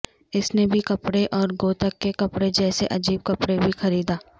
اس نے بھی کپڑے اور گوتھک کے کپڑے جیسے عجیب کپڑے بھی خریدا